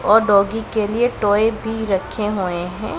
और डॉगी के लिए टॉय भी रखे हुए हैं।